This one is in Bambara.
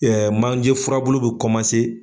manje furabulu bɛ komanse.